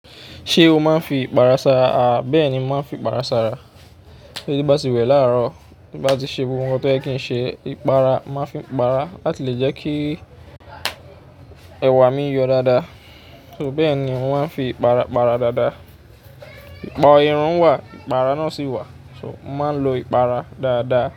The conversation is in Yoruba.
Ṣé o máa ń fi ipara sara? Aà bẹ́ẹ̀ ni màá ń fi ipara sara. Tí mo báti wẹ̀ láàárọ̀ ti bá ti ṣe ohun tí oyẹ kìí ṣe, ìpara màá fi ìpara láti lè jẹ́ kí ẹ̀wà mi yọ dáadáa. So bẹ́ẹ̀ ni mò máa ń fi ìpara para dáadáa. Ìpà irun wà, ìpara náà sì wà. So mo màá ń lo ìpara dáadáa.